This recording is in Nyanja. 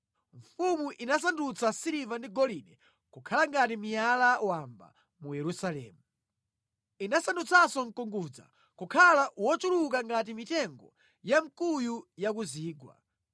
Mfumu inasandutsa siliva ndi golide kukhala ngati miyala wamba mu Yerusalemu. Inasandutsanso mkungudza kukhala wochuluka ngati mitengo ya mkuyu ya ku zigwa.